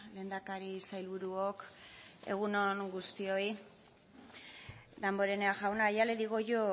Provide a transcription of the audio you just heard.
lehendakari sailburuok egun on guztioi damborenea jauna ya le digo yo